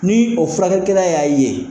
Ni o furakɛlikɛla y'a ye